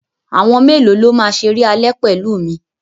Àwọn mélòó ló máa ṣeré alẹ́ pẹ̀lú mi?